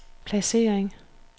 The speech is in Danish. placering